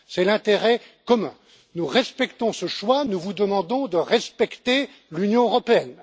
Il en va de l'intérêt commun. Nous respectons ce choix, mais nous vous demandons de respecter l'Union européenne.